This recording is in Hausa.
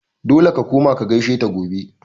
Dole ka koma ka gaishe ta gobe!